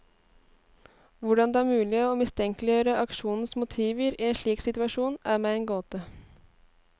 Hvordan det er mulig å mistenkeliggjøre aksjonens motiver i en slik situasjon, er meg en gåte.